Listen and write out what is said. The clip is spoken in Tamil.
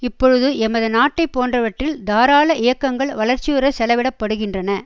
இப்பொழுது எமது நாட்டை போன்றவற்றில் தாராள இயக்கங்கள் வளர்ச்சியுறச் செலவிடப்படுகின்றன